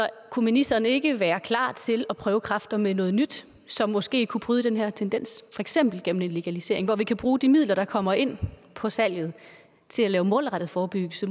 kunne ministeren ikke være klar til at prøve kræfter med noget nyt som måske kunne bryde den her tendens eksempel en legalisering hvor vi kan bruge de midler der kommer ind på salget til at lave målrettet forebyggelse